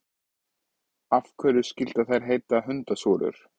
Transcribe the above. Af hverju skyldu þær heita hundasúrur?